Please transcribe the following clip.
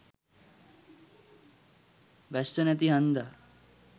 වැස්ස නැති හන්දා